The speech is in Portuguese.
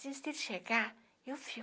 chegar, eu fico.